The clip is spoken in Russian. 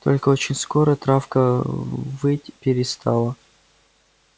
только очень скоро травка выть перестала